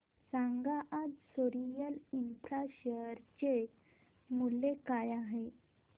सांगा आज Soril infra share चे मूल्य काय आहे